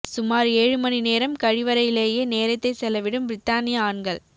சுமார் ஏழு மணி நேரம் கழிவறையிலேயே நேரத்தை செலவிடும் பிரித்தானிய ஆண்கள்